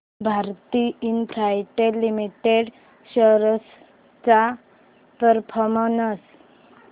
Bharti Infratel limited shares चा performance